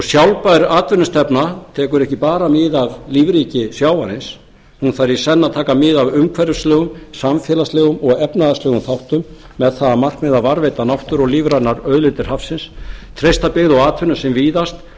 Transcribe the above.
sjálfbær atvinnustefna tekur ekki bara mið af lífríki sjávarins hún þarf í senn að taka mið af umhverfislegum samfélagslegum og efnahagslegum þáttum með það að markmiði að varðveita náttúru og lífrænar auðlindir hafsins treysta byggð og atvinnu sem víðast